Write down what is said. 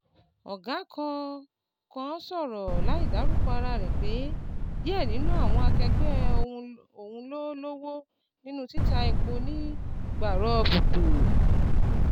Ọ̀gá kan kan sọ̀rọ̀ láìdárúkọ ara rẹ̀ pé díẹ̀ ninu àwọn akẹ́gbẹ́ òhun ló lọ́wọ́ nínú títa epo ní gbàrọgbùdù.